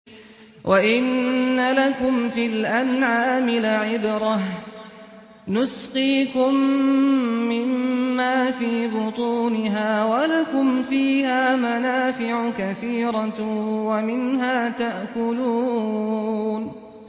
وَإِنَّ لَكُمْ فِي الْأَنْعَامِ لَعِبْرَةً ۖ نُّسْقِيكُم مِّمَّا فِي بُطُونِهَا وَلَكُمْ فِيهَا مَنَافِعُ كَثِيرَةٌ وَمِنْهَا تَأْكُلُونَ